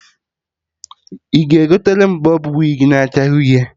Ị ga-egotere m bọb wig na acha uhie?